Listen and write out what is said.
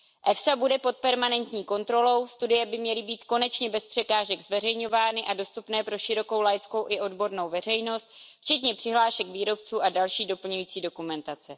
EFSA bude pod permanentní kontrolou, studie by měly být konečně bez překážek zveřejňovány a dostupné pro širokou laickou a odbornou veřejnost, včetně přihlášek výrobců a další doplňující dokumentace.